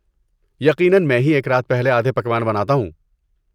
یقیناً، میں ہی ایک رات پہلے آدھے پکوان بناتا ہوں۔